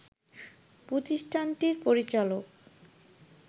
প্রতিষ্ঠানটির পরিচালক